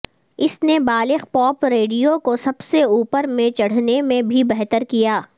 اس نے بالغ pop radio کو سب سے اوپر میں چڑھنے میں بھی بہتر کیا